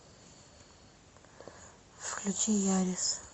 включи ярис